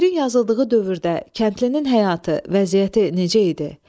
Şeirin yazıldığı dövrdə kəndlinin həyatı, vəziyyəti necə idi?